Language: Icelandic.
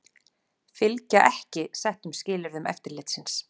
Fylgja ekki settum skilyrðum eftirlitsins